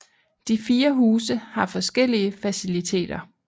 De fire huse har forskellige faciliteter